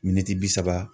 Miniti bi saba